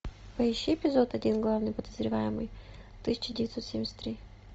поищи эпизод один главный подозреваемый тысяча девятьсот семьдесят три